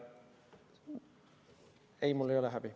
Ei, mul ei ole häbi.